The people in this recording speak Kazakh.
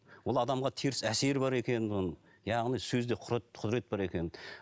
ол адамға теріс әсері бар екенін оның яғни сөзде құдірет бар екенін